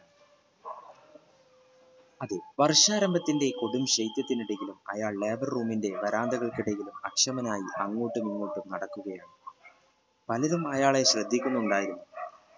അതെ വര്ഷാരംഭത്തിന്റെ കൊടും ശൈത്യത്തിന്റെ അയാൾ labour room ന്റെ വരാന്തകൾഖു ഇടയിൽ അക്ഷമനായി ആഘോട്ടും ഇഖോട്ടും നടുക്കുകയായി പലരും അയാളെ ശ്രദ്ധിക്കുന്നുണ്ടായിരുന്നു